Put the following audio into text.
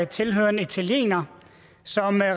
tilhører en italiener som